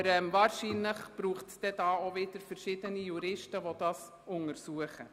Aber wahrscheinlich bedarf es hierfür wieder einer Untersuchung durch verschiedene Juristen.